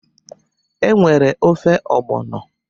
E nwere ofe ọgbọnọ